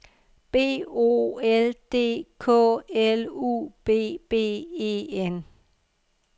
B O L D K L U B B E N